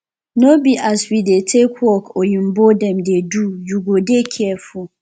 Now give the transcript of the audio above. no be as we dey take work oyimbo dem dey do you go dey careful